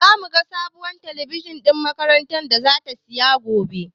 Zamu ga sabuwar talabijin ɗin makarantar zata siya gobe.